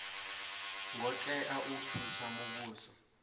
ngo tea u thusa muvhuso